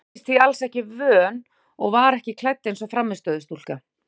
Hún virtist því alls ekki vön og var ekki klædd eins og frammistöðustúlka.